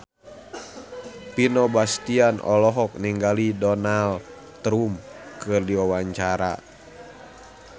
Vino Bastian olohok ningali Donald Trump keur diwawancara